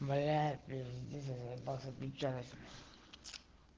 бля пиздец я заебался пить чай